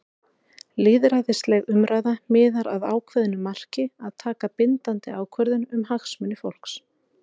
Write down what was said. Lýðræðisleg umræða miðar að ákveðnu marki- að taka bindandi ákvörðun um hagsmuni fólks.